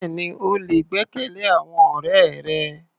Bẹ́ẹ̀ni, o lè gbẹ́kẹ̀lé àwọn ọ̀rẹ́ rẹ.